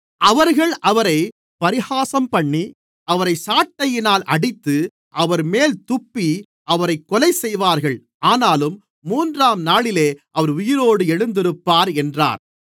அவர்கள் அவரைப் பரிகாசம்பண்ணி அவரை சாட்டையினால் அடித்து அவர்மேல் துப்பி அவரைக் கொலைசெய்வார்கள் ஆனாலும் மூன்றாம்நாளிலே அவர் உயிரோடு எழுந்திருப்பார் என்றார்